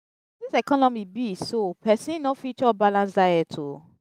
as dis economy be so pesin no fit chop balanced diet o.